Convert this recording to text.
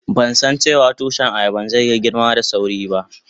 Ban san dace wa tushi ayaban zai yi girma da sawri ba.